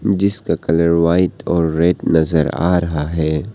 जिसका colour white और red नजर आ रहा है।